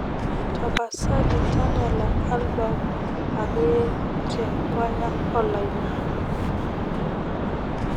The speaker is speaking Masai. tapasali tadala album akeye te kwaya olayiok